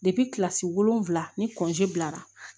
kilasi wolonwula ni bilara